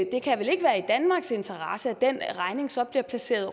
det kan vel ikke være i danmarks interesse at den regning så bliver placeret